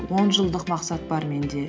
он жылдық мақсат бар менде